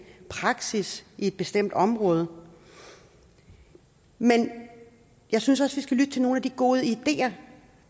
praksis i et bestemt område men jeg synes også vi skal lytte til nogle af de gode ideer